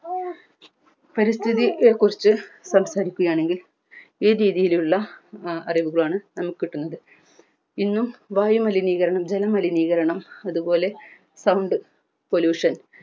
പരിസ്ഥിതിയെ കുറിച് സംസാരിക്കുകയാണെങ്കിൽ ഈ രീതിയിലുള്ള എ അറിവുകളാണ് നമുക്ക് കിട്ടുന്നത് ഇന്നും വായു മലിനീകരണം ജല മലിനീകരണം അത്പോലെ sound pollution